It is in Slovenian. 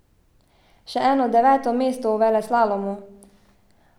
Še eno deveto mesto v veleslalomu!